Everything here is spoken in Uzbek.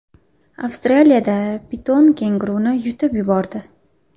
Avstraliyada piton kenguruni yutib yubordi .